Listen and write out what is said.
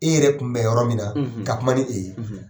E yɛrɛ tun bɛ yɔrɔ min na ka kuma ni e ye